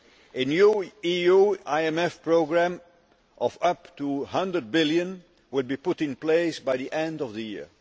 A new EU IMF programme of up to 100 billion will be put in place by the end of the year.